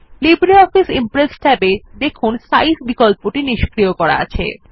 LibreOffice Impress ট্যাবে দেখুন size বিকল্পটি নিস্ক্রিয় করা আছে